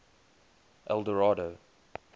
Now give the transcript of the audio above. eldorado